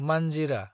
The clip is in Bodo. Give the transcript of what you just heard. मानजिरा